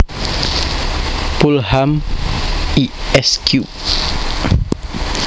Pulham Esq